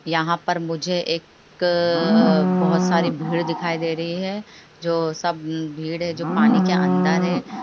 यहाँ पर मुझे एक बहुत सारी भीड़ दिखाई दे रही है जो सब भीड़ है जो पानी के अंदर है।